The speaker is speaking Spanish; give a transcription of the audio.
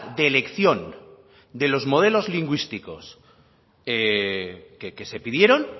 de elección de los modelos lingüísticos que se pidieron